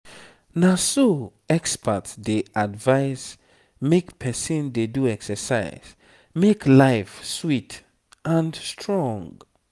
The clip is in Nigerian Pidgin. na so experts dey advise—make person dey do exercise make life sweet and strong.